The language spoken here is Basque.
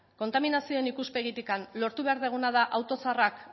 kontaminazioaren ikuspegitik lortu behar duguna da auto zaharrak